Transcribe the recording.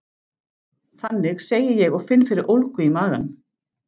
Þannig, segi ég og finn fyrir ólgu í maganum.